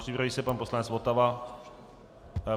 Připraví se pan poslanec Votava.